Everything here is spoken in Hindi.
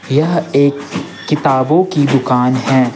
यह एक किताबों की दुकान है।